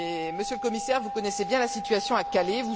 Monsieur le Commissaire, vous connaissez bien la situation à Calais